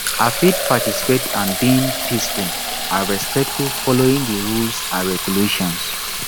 i fit participate and being peaceful and respectful following di rules and regulations